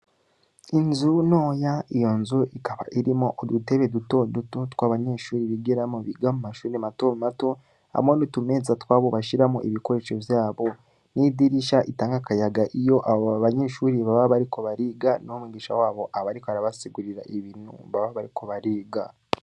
Inzo ntoya, iyo nzu ikaba irimwo udutebe duto duto tw'abanyeshuri bigiramwo, biga mu mashuri mato mato, hamwe n'utumeza twabo, bashiramwo ibikoresho vyabo; n'idirisha itanga akayaga, iyo abo banyeshuri baba bariko bariga, n'umwigisha wabo, aba ariko arabasigurira, ibintu baba bariko bariga.